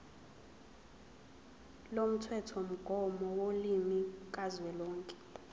lomthethomgomo wolimi kazwelonke